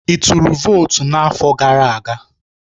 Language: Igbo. Ị tụrụ votu n'afọ gara aga?